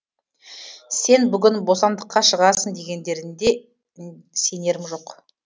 сен бүгін бостандыққа шығасың дегендерінде сенерім жоқ